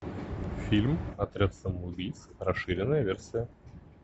фильм отряд самоубийц расширенная версия